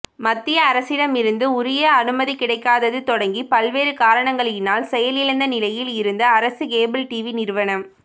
மத்திய அரசிடமிருந்து உரிய அனுமதி கிடைக்காதது தொடங்கி பல்வேறு காரணங்களினால் செயலிழந்த நிலையில் இருந்த அரசு கேபிள் டிவி நிறுவனம்